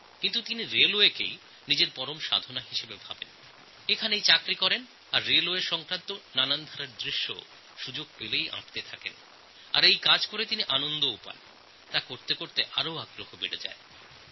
কিন্তু উনি রেলের কাজকে গুরুত্ব দিয়েছেন এবং রেলের চাকরি করছেন আর রেলের সঙ্গে সম্পর্কিত বিভিন্ন বিষয়ের ছবি আঁকছেন এতে তাঁর কাজের প্রতি আগ্রহ এবং আনন্দ দুইই বেড়ে যাচ্ছে